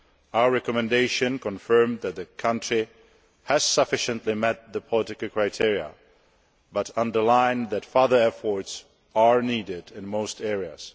Our recommendation confirmed that the country has sufficiently met the political criteria but underlined that further efforts are needed in most areas.